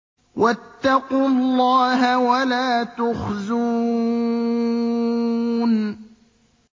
وَاتَّقُوا اللَّهَ وَلَا تُخْزُونِ